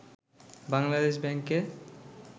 বাংলাদেশ ব্যাংকে